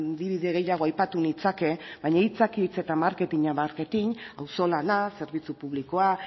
adibide gehiago aipatu nitzake baina hitzak hitz eta marketinka marketin auzolana zerbitzu publikoa